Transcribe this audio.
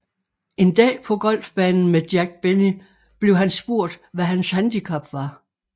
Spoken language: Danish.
En dag på golfbanen med Jack Benny blev han spurgt hvad hans handicap var